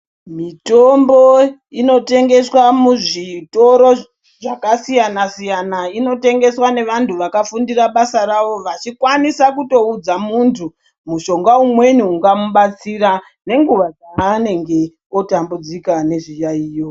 Mitombo inotengeswa muzvitoro zvakasiyana siyana. Inotengeswa nevantu vakafundira basa rawo vachikwanisa kutoudza muntu mushonga umweni ungamubatsira nenguva dzaanenge otambudzika nezviyaeyo.